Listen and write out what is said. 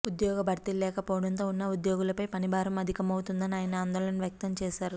ఉద్యోగ భర్తీలు లేకపోవడంతో ఉన్న ఉద్యోగులపై పని భారం అధికమవుతోందని ఆయన ఆందోళన వ్యక్తం చేశారు